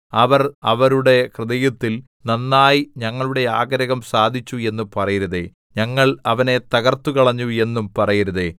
അവർ അവരുടെ ഹൃദയത്തിൽ നന്നായി ഞങ്ങളുടെ ആഗ്രഹം സാധിച്ചു എന്ന് പറയരുതേ ഞങ്ങൾ അവനെ തകര്‍ത്തുകളഞ്ഞു എന്നും പറയരുതേ